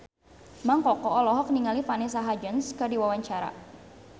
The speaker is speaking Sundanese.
Mang Koko olohok ningali Vanessa Hudgens keur diwawancara